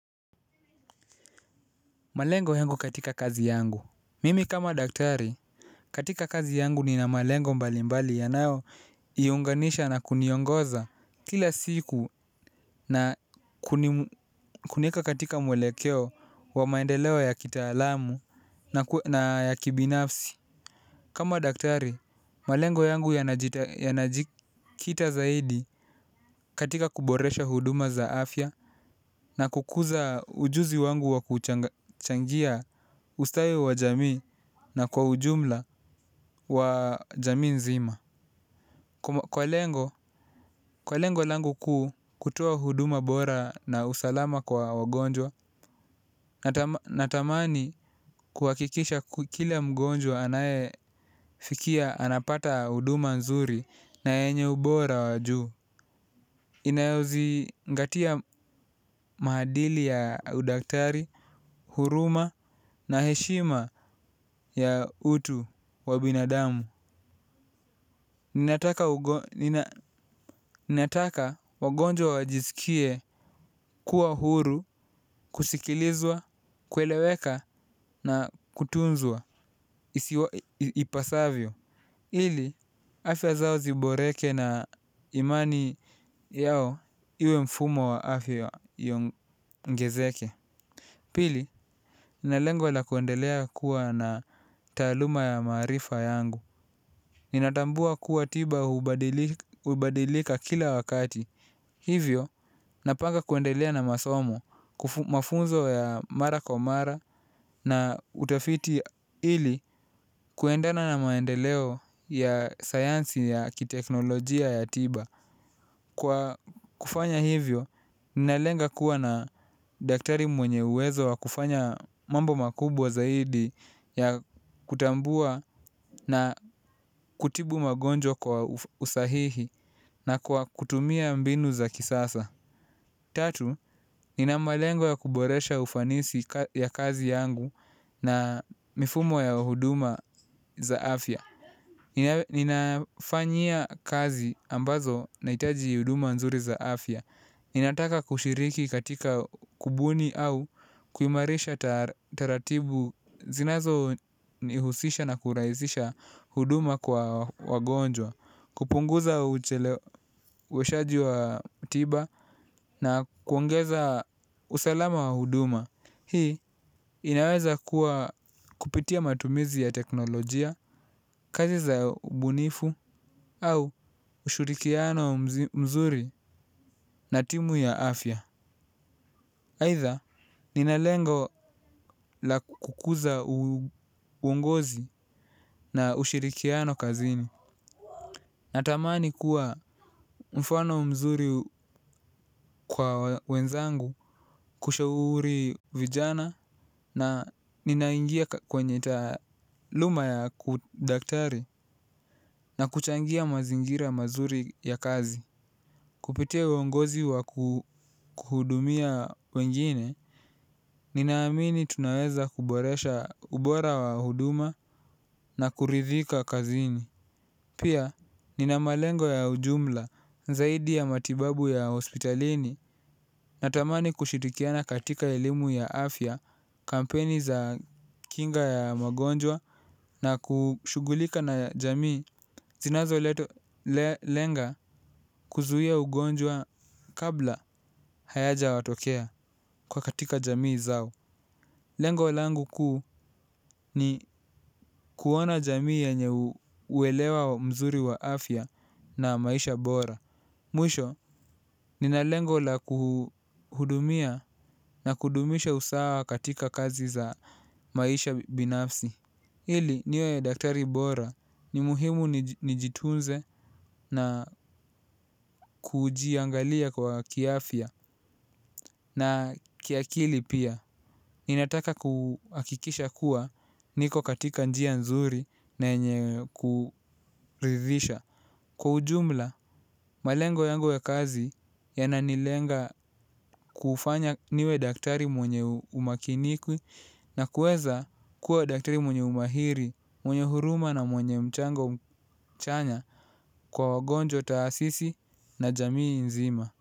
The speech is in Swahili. Malengo yangu katika kazi yangu. Mimi kama daktari, katika kazi yangu nina malengo mbalimbali yanayo iunganisha na kuniongoza kila siku na kunieka katika mwelekeo wa maendeleo ya kitaalamu na ya kibinafsi. Kama daktari, malengo yangu yanajikita zaidi katika kuboresha huduma za afya na kukuza ujuzi wangu wa kuchangia ustawi wa jamii. Na kwa ujumla wa jamii nzima kwa lengo langu kuu kutoa huduma bora na usalama kwa wagonjwa. Natamani kuwakikisha kila mgonjwa anaye fikia anapata huduma nzuri na yenye ubora wa juu. Inayo zingatia maadili ya udaktari, huruma na heshima ya utu wa binadamu. Ninataka wagonjwa wajiskie kuwa huru, kusikilizwa, kueleweka na kutunzwa, ipasavyo. Hili, afya zao ziboreke na imani yao iwe mfumo wa afya iongezeke. Pili, na lengo la kuendelea kuwa na taaluma ya maarifa yangu. Nina tambua kuwa tiba hubadilika kila wakati. Hivyo, napanga kuendelea na masomo, mafunzo ya mara kwa mara na utafiti hili kuendana na maendeleo ya sayansi ya kiteknolojia ya tiba. Kwa kufanya hivyo, ninalenga kuwa na daktari mwenye uwezo wa kufanya mambo makubwa zaidi ya kutambua na kutibu magonjwa kwa usahihi na kwa kutumia mbinu za kisasa. Tatu, nina malengo ya kuboresha ufanisi ya kazi yangu na mifumo ya huduma za afya. Ninafanyia kazi ambazo na itaji huduma nzuri zaafya. Ninataka kushiriki katika kubuni au kuimaarisha taratibu zinazo nihusisha na kurahisisha huduma kwa wagonjwa. Kupunguza ucheleweshaji wa tiba na kuongeza usalama wa huduma hii inaweza kuwa kupitia matumizi ya teknolojia, kazi za mbunifu au ushirikiano mzuri na timu ya afya aidha ninalengo la kukuza uongozi na ushirikiano kazini. Natamani kuwa mfano mzuri kwa wenzangu kushauri vijana na ninaingia kwenye taaluma ya kudaktari na kuchangia mazingira mazuri ya kazi. Kupitia uongozi wa kuhudumia wengine, ninaamini tunaweza kuboresha ubora wa huduma na kuridhika kazini. Pia nina malengo ya ujumla zaidi ya matibabu ya hospitalini na tamani kushirikiana katika elimu ya afya kampeni za kinga ya magonjwa na kushugulika na jamii zinazo lenga kuzuia ugonjwa kabla hayaja watokea katika jamii zao. Lengo langu kuu ni kuona jamii yenye uelewa mzuri wa afya na maisha bora. Mwisho, nina lengo la kuhudumia na kudumisha usawa katika kazi za maisha binafsi. Hili, niwe daktari bora ni muhimu nijitunze na kujiangalia kwa kiafya na kiakili pia. Ninataka kuhakikisha kuwa niko katika njia nzuri na yenye kuridhisha. Kwa ujumla, malengo yangu ya kazi yananilenga kufanya niwe daktari mwenye umakiniku na kueza kuwa daktari mwenye umahiri, mwenye huruma na mwenye mchango mchanya kwa wagonjo taasisi na jamii nzima.